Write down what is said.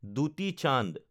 দুটি চান্দ